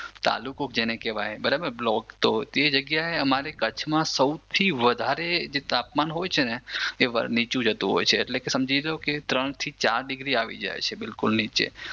તાલુકો જેને કેવાય બ્લોકતો તે જગ્યાએ અમારે કચ્છમાં સૌથી વધારે જે તાપમાન હોય છે ને એ નીચું જતું હોય છે એટલે કે સમજી લો કે ત્રણ થી ચાર ડિગ્રી આવી જાય છે બિલકુલ નીચે.